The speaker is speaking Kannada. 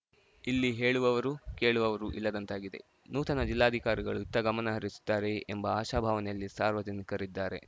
ಇಲ್ಲಿ ಹೇಳುವವರು ಕೇಳುವವರೂ ಇಲ್ಲದಂತಾಗಿದೆ ನೂತನ ಜಿಲ್ಲಾಧಿಕಾರಿಗಳು ಇತ್ತಗಮನ ಹರಿಸುತ್ತಾರೆಯೇ ಎಂಬ ಆಶಾಭಾವನೆಯಲ್ಲಿ ಸಾರ್ವಜನಿಕರಿದ್ದಾರೆ